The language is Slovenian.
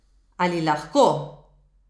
Ali lahko?